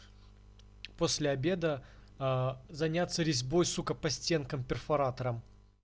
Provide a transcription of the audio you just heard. после обеда а заняться резьбой сука по стенкам перфоратором